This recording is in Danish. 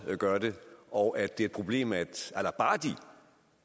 gør det og at det er et problem at